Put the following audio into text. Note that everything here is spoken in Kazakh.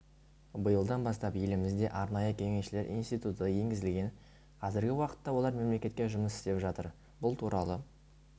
биылдан бастап елімізде арнайы кеңесшілер институты енгізілген қазіргі уақытта олар мемлекетте жұмыс істеп жатыр бұл туралы